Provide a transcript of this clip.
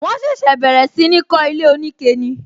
Wọn ṣẹ̀ṣẹ̀ bẹ̀rẹ̀ sí ní kó ilé onike ni